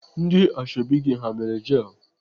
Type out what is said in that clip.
Ndị ashọbị gị ha mere jel?